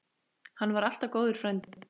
Hann var alltaf góður frændi.